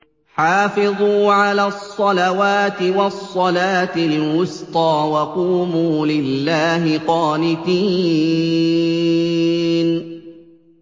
حَافِظُوا عَلَى الصَّلَوَاتِ وَالصَّلَاةِ الْوُسْطَىٰ وَقُومُوا لِلَّهِ قَانِتِينَ